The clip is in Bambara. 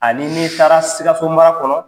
Ani n'i taara Sikaso mara kɔnɔ